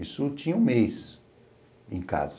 Isso tinha um mês em casa.